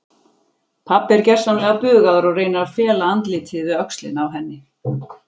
Pabbi er gersamlega bugaður og reynir að fela andlitið við öxlina á henni.